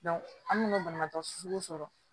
an mina banabaatɔ susu sɔrɔ